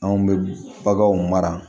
Anw bɛ baganw mara